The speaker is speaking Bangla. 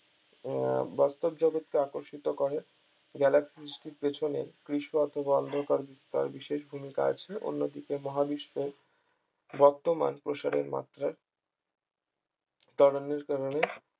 আহ বাস্তব জগতকে আকর্ষিত করে galaxy সৃষ্টির পিছনে কৃষ্ণ অথবা অন্ধকার বা বিশেষ ভূমিকা আছে অন্যদিকে মহাবিশ্বে বর্তমান প্রসারের মাত্রা ত্বরণের কারণে